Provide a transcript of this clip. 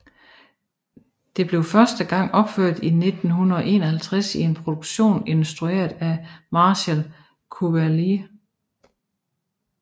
Det blev første gang opført i 1951 i en produktion instrueret af Marcel Cuvelier